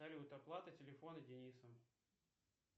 салют оплата телефона дениса